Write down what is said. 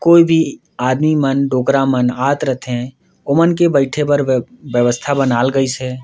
कोई भी आदमी मन डोकरा मन आत रईथे ओ मन के बैठे बर व्यवस्था बनाल गइसे।